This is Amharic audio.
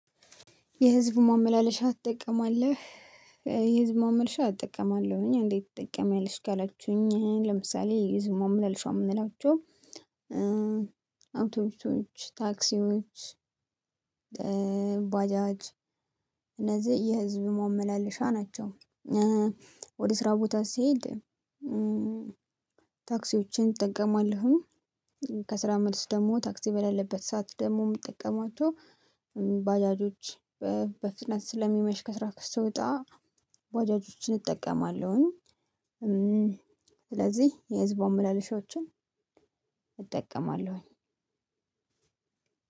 የህዝብ ማመላለሻ ትጠቀማለህ? የህዝብ ማመልሻ እጠቀማለሁ እእኔ እንዴት ትጠቀምያለሽ ካላችሁኝ ለምሳሌ የህዝብ ማመላለሻ እምንላቸው። አውቶቡሶች ታክሲዎች ባጃጅ እነዚህ የህዝብ ማመላለሻ ናቸው። ወደ ስራ ቦታ ስሄድ። ታክሲዎችን እጠቀማለሁኝ። ከስራ መልስ ደሞ ታክሲ በሌለበት ሰዓት ደግሞ እምጠቀማቸው ባጃጆች በፍጥነት ስለሚመሽ ከስራ እስክወጣ ባጃጆችን እጠቀማለሁኝ። ስለዚህ የህዝብ ማመላለሻዎችን እጠቀማለሁኝ።